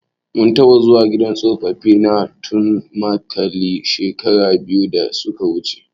Mun taɓa zuwa gidan tsofaffi na Tudunmaliki shekara biyu da suka wuje.